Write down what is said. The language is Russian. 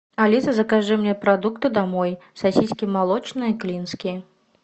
алиса закажи мне продукты домой сосиски молочные клинские